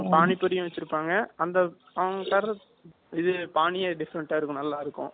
பானிபூரியும் வச்சிருப்பாங்க அந்த side இது பானி different அ இருக்கும் நல்லாயிருக்கும்